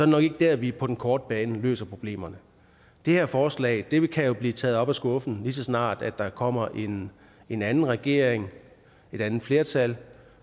nok ikke der vi på den korte bane løser problemerne det her forslag kan jo blive taget op af skuffen lige så snart der kommer en en anden regering et andet flertal